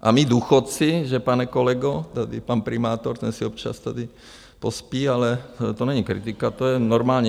A my důchodci, že, pane kolego , tady pan primátor, ten si občas tady pospí, ale to není kritika, to je normální.